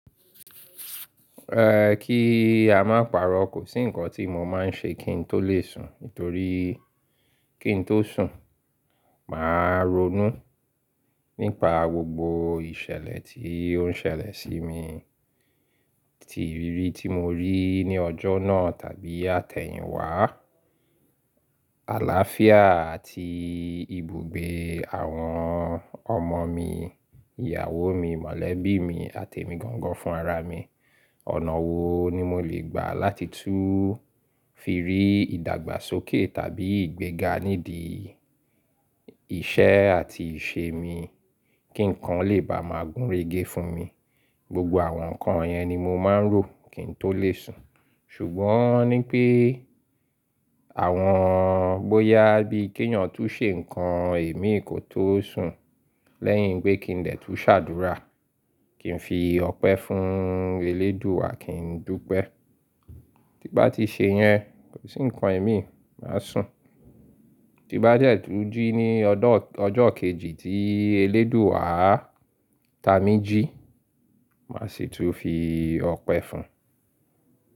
Ehh, kí a má paro, kò sí ǹkan tí mo máa ń ṣe kí n tó lè sùn. Nítorí kí n tó sùn, màá ronú nípa gbogbo ìṣẹ̀lẹ̀ tí ó ń ṣẹlẹ̀ sí mi, ti ìrírí tí mo rí ní ọjọ́ náà tàbí àtẹ̀yìn wá. Àlááfíà àti ibùgbé àwọn ọmọ mi, ìyàwó mi, mọ̀lẹ́bí mi àti ẹ̀mi gangan fún ara mi. Ọ̀nà wo ni mo lè gbà láti tún fi rí ìdàgbàsókè tàbí ìgbéga nídìí iṣẹ́ àti ìṣe mi? Kí ǹkan lè bá máa gúnrégé fún mi? Gbogbo àwọn ǹkan yẹn ni mo máa ń rò kí n tó lè sùn. Ṣùgbọ́n ní pé àwọn bóyá bí kéyàn tó ṣe ǹkan èmi kò tó sùn, lẹ́yìn pé kí n dè tún ṣàdúrà, kí n fi ọpẹ́ fún Elédùà kí n dúpẹ́. Tí bá ti ṣe yẹn, kò sí ǹkan imi, màá sùn. Tí bá de tún jí ní ọjọ́ kejì tí Elédùà tá mi jí, màá sì tún fi ọpẹ́ fún.